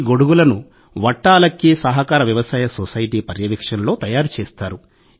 ఈ గొడుగులను 'వట్టాలక్కీ సహకార వ్యవసాయ సొసైటీ' పర్యవేక్షణలో తయారు చేస్తారు